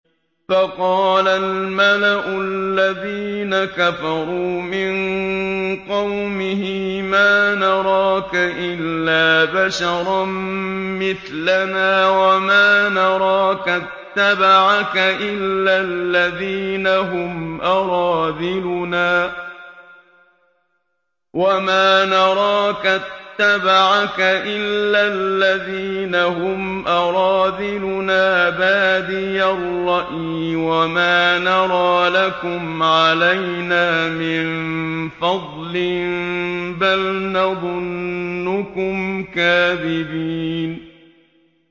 فَقَالَ الْمَلَأُ الَّذِينَ كَفَرُوا مِن قَوْمِهِ مَا نَرَاكَ إِلَّا بَشَرًا مِّثْلَنَا وَمَا نَرَاكَ اتَّبَعَكَ إِلَّا الَّذِينَ هُمْ أَرَاذِلُنَا بَادِيَ الرَّأْيِ وَمَا نَرَىٰ لَكُمْ عَلَيْنَا مِن فَضْلٍ بَلْ نَظُنُّكُمْ كَاذِبِينَ